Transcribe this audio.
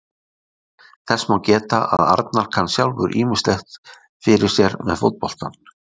Þess má geta að Arnar kann sjálfur ýmislegt fyrir sér með fótboltann.